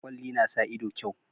Kwalli na sa ido kyau